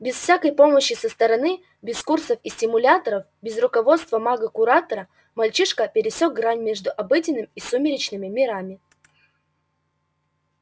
без всякой помощи со стороны без курсов и стимуляторов без руководства мага-куратора мальчишка пересёк грань между обыденным и сумеречным мирами